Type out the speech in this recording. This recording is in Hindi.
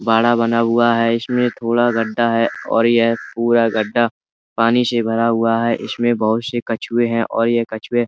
बाड़ा बना हुआ है। इसमें थोड़ा गड्ढा है और यह पूरा गड्ढा पानी से भरा हुआ है। इसमें बहुत से कछुए हैं और ये कछुए --